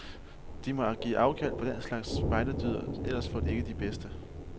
De må give afkald på den slags spejderdyder, ellers får de ikke de bedste.